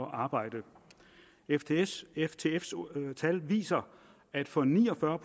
at arbejde ftfs ftfs tal viser at for ni og fyrre